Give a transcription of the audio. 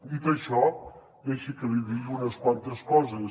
dit això deixi que li digui unes quantes coses